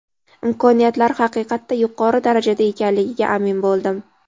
imkoniyatlari haqiqatda yuqori darajada ekanligiga amin bo‘ldim.